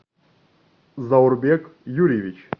заурбек юрьевич